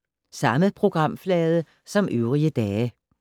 Samme programflade som øvrige dage